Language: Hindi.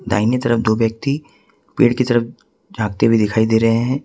दाहिने तरफ दो व्यक्ति पेड़ की तरफ झांकते हुए दिखाई दे रहे हैं।